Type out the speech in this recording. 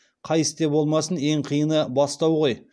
қай істе болмасын ең қиыны бастау ғой